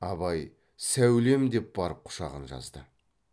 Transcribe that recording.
абай сәулем деп барып құшағын жазды